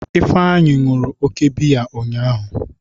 Ifeanyi ṅụrụ oke biya ụnyahụ.